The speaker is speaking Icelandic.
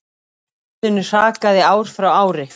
Barninu hrakaði ár frá ári.